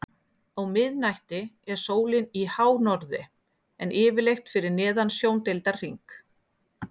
á miðnætti er sólin í hánorðri en yfirleitt fyrir neðan sjóndeildarhring